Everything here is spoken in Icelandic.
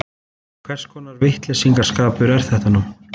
Hvers konar vitleysisgangur er þetta nú?